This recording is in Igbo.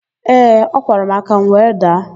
Ee, ọ kwara m aka, m were daa.